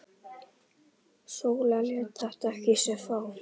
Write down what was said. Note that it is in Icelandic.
Sóla lét þetta ekki á sig fá.